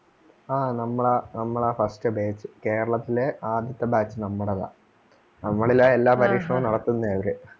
ആ നമ്മളാ നമ്മളാ first batch കേരളത്തിലേ ആദ്യത്തെ batch നമ്മടതാ. നമ്മളിലാ എല്ലാ പരീക്ഷണവും നടത്തുന്നേ അവര്